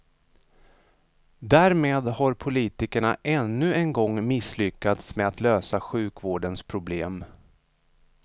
Därmed har politikerna ännu en gång misslyckats med att lösa sjukvårdens problem.